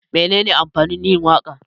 Menene amfanin yin waka?